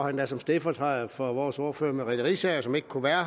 endda som stedfortræder for vores ordfører fru merete riisager som ikke kunne være